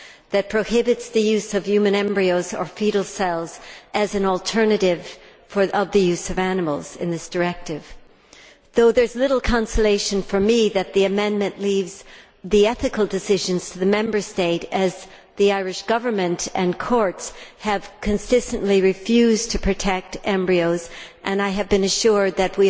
This prohibits the use of human embryos or foetal cells as an alternative to the use of animals in this directive, though there is little consolation for me that the amendment leaves the ethical decisions to the Member State, as the Irish Government and courts have consistently refused to protect embryos and I have been assured that